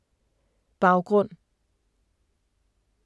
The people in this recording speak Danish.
Baggrund